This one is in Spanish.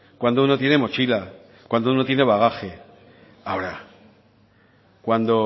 cuando uno tiene mochila cuando uno tiene bagaje ahora cuando